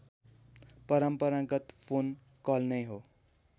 परम्परागत phone call नै हो